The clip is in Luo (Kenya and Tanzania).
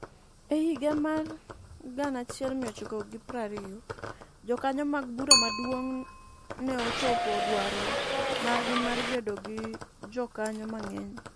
E higa mar 1920, jokanyo mag Bura Maduong' ne ochopo dwaro margi mar bedo gi jokanyo mang'eny.